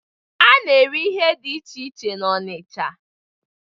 A na-ere ihe dị iche iche n'ahịa Ọnịcha.